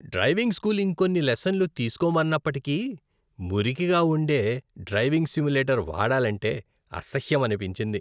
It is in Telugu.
డ్రైవింగ్ స్కూల్ ఇంకొన్ని లెసన్లు తీసుకోమన్నప్పటికీ, మురికిగా ఉండే డ్రైవింగ్ సిమ్యులేటర్ వాడాలంటే అసహ్యమనిపించింది.